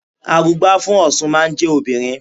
Arugbá fún Ọ̀ṣun máa ń jẹ́ obìnrin.